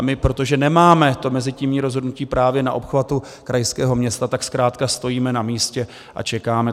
A my, protože nemáme to mezitímní rozhodnutí právě na obchvatu krajského města, tak zkrátka stojíme na místě a čekáme.